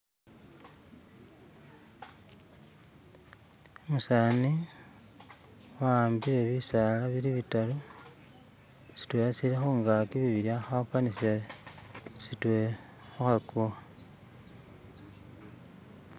Umusani , waambile bisala bili bitaru sitwela sitwela sili khungaki bibila khakhupanisila sitwela khukhakuwa.